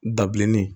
Dabilennin